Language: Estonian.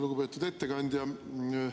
Lugupeetud ettekandja!